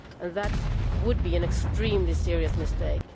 That would be an extremely serious mistake.